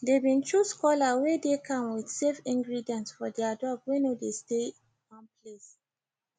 they been choose collar wey dey calm with safe ingredients for their dog wey no de stay one place